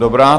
Dobrá.